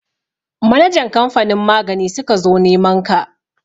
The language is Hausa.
Manajan kamfanin magani suka zo neman ka.